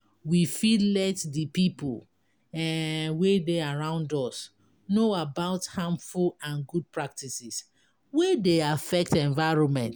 We fit let di pipo um wey dey around us know about harmful and good practices wey dey affect environment